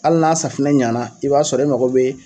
Hali n'a safinɛ ɲana i b'a sɔrɔ e mago bɛ